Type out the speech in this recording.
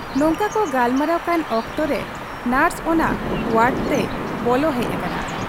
ᱱᱚᱝᱠᱟ ᱠᱚ ᱜᱟᱞᱢᱟᱨᱟᱣ ᱠᱟᱱ ᱚᱠᱛᱚᱨᱮ ᱱᱚᱨᱥ ᱚᱱᱟ ᱣᱟᱰᱛᱮᱭ ᱵᱚᱞᱚ ᱦᱮᱡ ᱟᱠᱟᱱᱟ ᱾